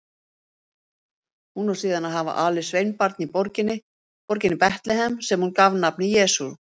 Hún á síðan að hafa alið sveinbarn í borginni Betlehem sem hún gaf nafnið Jesús.